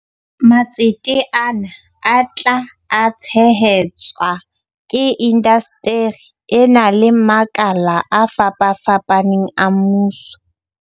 Matsete ana a tla tshehe tswa ke indasteri ena le makala a fapafapaneng a mmuso.